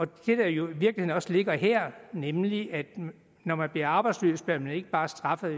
der jo i virkeligheden også ligger her nemlig at når man bliver arbejdsløs bliver man ikke bare straffet